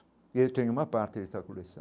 E eu tenho uma parte dessa coleção.